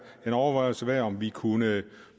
en overvejelse værd om vi kunne